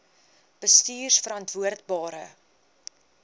bestuurverantwoordbare